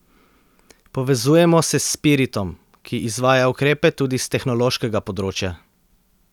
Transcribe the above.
Povezujemo se s Spiritom, ki izvaja ukrepe tudi s tehnološkega področja.